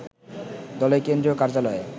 দলের কেন্দ্রীয় কার্যালয়ে